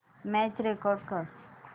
match record कर